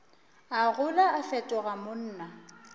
a gola a fetoga monna